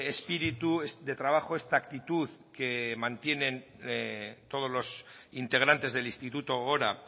espíritu de trabajo esta actitud que mantienen todos los integrantes del instituto gogora